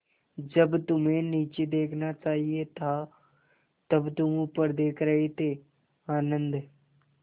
जब तुम्हें नीचे देखना चाहिए था तब तुम ऊपर देख रहे थे आनन्द